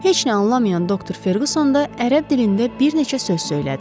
Heç nə anlamayan doktor Ferqson da ərəb dilində bir neçə söz söylədi.